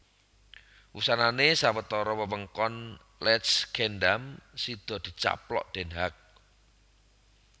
Wusanané sawetara wewengkon Leidschendam sida dicaplok Den Haag